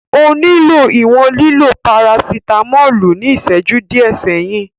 O nilo iwọn lilo parasitamolu ni iṣẹju diẹ sẹhin.